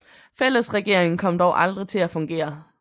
Fællesregeringen kom dog aldrig til at fungere